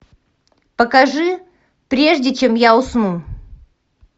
покажи прежде чем я усну